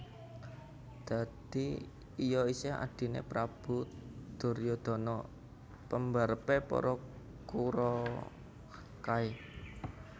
Dadi iya isih Adhine Prabu Duryudana pembarepe para Kuraw kae